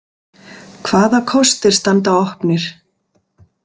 Hvaða kostir standa opnir?